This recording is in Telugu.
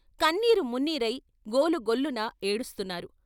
కన్నీరు మున్నీరై గోలు గొల్లున ఏడుస్తున్నారు.